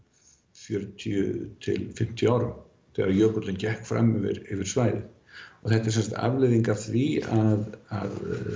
fjörutíu til fimmtíu árum þegar jökullinn gekk fram yfir svæðið þetta er afleiðing af því að